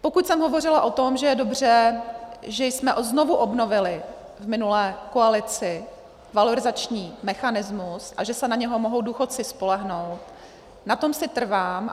Pokud jsem hovořila o tom, že je dobře, že jsme znovu obnovili v minulé koalici valorizační mechanismus a že se na něj mohou důchodci spolehnout, na tom si trvám.